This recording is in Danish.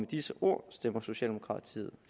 disse ord stemmer socialdemokratiet